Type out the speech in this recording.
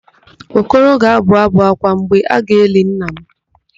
Okoro ga-abụ ábụ̀ ákwá mgbe a ga-eli nna m.